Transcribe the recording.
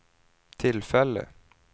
tillfälle